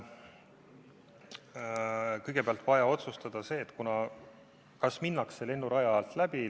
Kõigepealt on vaja otsustada, kas minnakse lennuraja alt läbi.